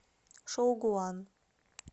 шоугуан